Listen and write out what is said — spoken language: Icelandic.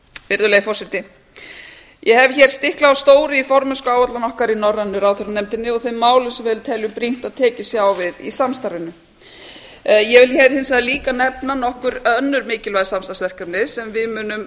virðulegi forseti ég hef hér stiklað á stóru í formennskuáætlun okkar í norrænu ráðherranefndinni og þeim málum sem við teljum brýnt að tekist sé á við í samstarfinu ég vil hins vegar líka nefna nokkur önnur mikilvæg samsarfsverkefni sem við munum